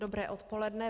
Dobré odpoledne.